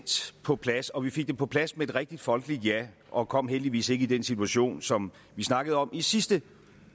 på plads og vi fik det på plads med et rigtig folkeligt ja og kom heldigvis ikke i den situation som vi snakkede om i sidste